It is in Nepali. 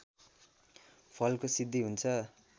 फलको सिद्धि हुन्छ